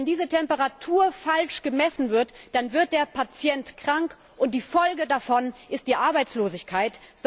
Wenn diese Temperatur falsch gemessen wird, wird der Patient krank, und die Folge davon ist Arbeitslosigkeit.